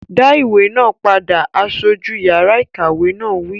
Dá ìwé náà padà! Aṣojú yàrá ìkàwé náà wí